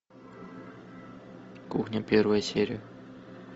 кухня первая серия